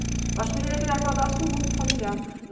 Acho que deveria criar cadastro único, familiar.